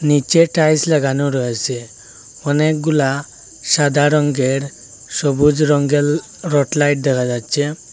নিচের টাইলস লাগানো রয়েছে অনেকগুলা সাদা রংয়ের সবুজ রঙের রড লাইট দেখা যাচ্ছে।